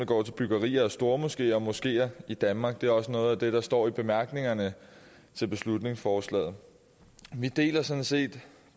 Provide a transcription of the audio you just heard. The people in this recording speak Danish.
går til byggerier af stormoskeer og moskeer i danmark og det er også noget af det der står i bemærkningerne til beslutningsforslaget vi deler sådan set